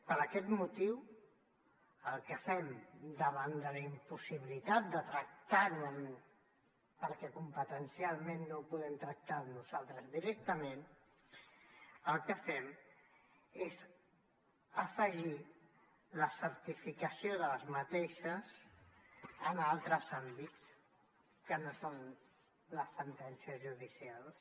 per aquest motiu el que fem davant de la impossibilitat de tractar ho perquè competencialment no ho podem tractar nosaltres directament és afegir ne la certificació en altres àmbits que no són les sentències judicials